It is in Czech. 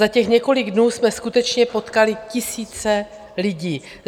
Za těch několik dnů jsme skutečně potkali tisíce lidí.